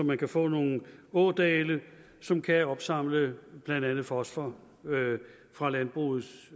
man kan få nogle ådale som kan opsamle blandt andet fosfor fra landbrugets